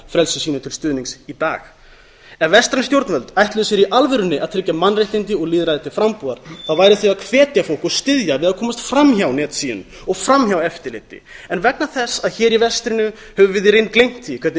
frelsi sínu til stuðnings í dag ef vestræn stjórnvöld ætluðu sér í alvörunni að tryggja mannréttindi og lýðræði til frambúðar væru þau að hvetja fólk og styðja við að komast fram hjá netsíunum og fram hjá eftirliti ef vegna þess að hér í vestrinu höfum við í reynd gleymt því hvernig